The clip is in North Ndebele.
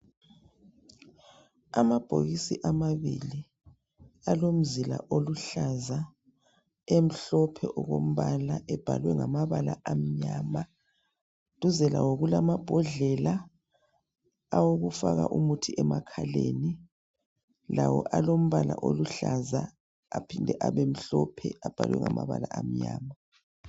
Amabhokisi amabili alomzila oluhlaza emhlophe okombala ebhalwe ngamabala amnyama duze lawo kulamambondlela awokufaka umuthi emakhaleni lawo alombala oluhlaza aphinde abe mhlophe abhalwe ngamabala amnyama